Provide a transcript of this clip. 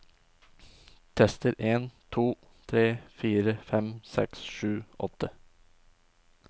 Tester en to tre fire fem seks sju åtte